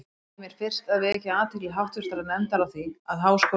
Ég leyfi mér fyrst að vekja athygli háttvirtrar nefndar á því, að Háskóli